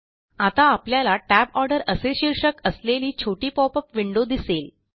आता आपल्याला Tab order असे शीर्षक असलेली छोटी पॉपअप विंडो दिसेल